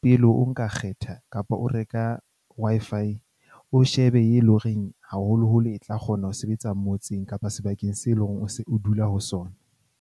Pele o nka kgetha kapa o reka Wi-Fi o shebe e leng horeng haholoholo e tla kgona ho sebetsa motseng kapa sebakeng seo e leng hore o se o dula ho sona.